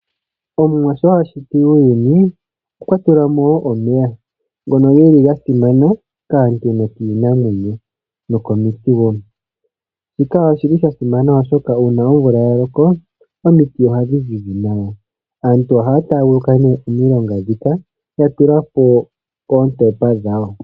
Omuwa sho ashiti uuyuni okwatulamo omeya ngono geli ga simana kaantu nokiinamwenyo nokomiti woo, shika oshili sha simana oshoka uuna omvula ya loko omiti ohadhi zizi nawa. Aantu ohaya taaguluka nee omilongo ndhika mono ya tulapo oontopa dhawo.